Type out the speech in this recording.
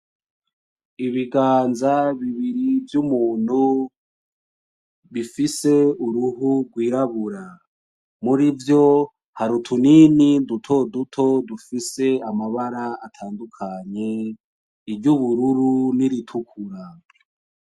Ibiganza bibiri vy'umuntu bifise uruhu rwirabura, muri vyo hari utunini duto duto dufise amabara atandukanye, iry'ubururu n'iritukura.